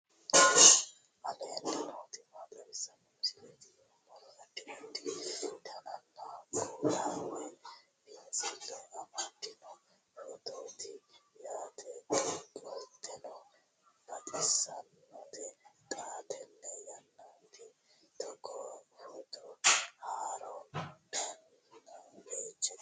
aleenni nooti maa xawisanno misileeti yinummoro addi addi dananna kuula woy biinsille amaddino footooti yaate qoltenno baxissannote xa tenne yannanni togoo footo haara danvchate